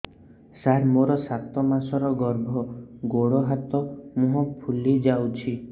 ସାର ମୋର ସାତ ମାସର ଗର୍ଭ ଗୋଡ଼ ହାତ ମୁହଁ ଫୁଲି ଯାଉଛି